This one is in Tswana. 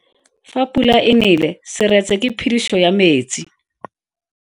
Fa pula e nele seretse ke phediso ya metsi.